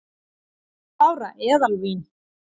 Tvöhundruð ára eðalvín